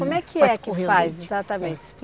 Como é que é que faz exatamente?